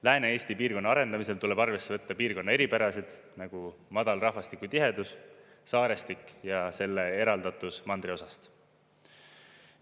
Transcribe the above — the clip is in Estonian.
Lääne-Eesti piirkonna arendamisel tuleb arvesse võtta piirkonna eripärasid, nagu madal rahvastiku tihedus, saarestik ja selle eraldatus mandriosast.